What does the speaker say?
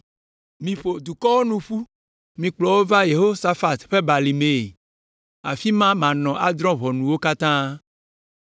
“Miƒo dukɔwo nu ƒu; mikplɔ wo va Yehosafat ƒe Balimee, afi ma manɔ adrɔ̃ ʋɔnu wo katã.